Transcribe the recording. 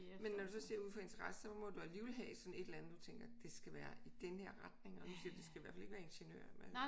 Men når du så siger ud fra interesse så må du alligevel have sådan et eller andet du tænker det skal være i den her retning og du siger det skal i hvert fald ikke være ingeniør